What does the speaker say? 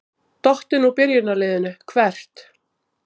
Dottinn úr byrjunarliðinu Hvert?